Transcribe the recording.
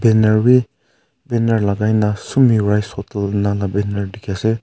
banner wi banner lagai nah sumi rice hotel banner dikhi ase.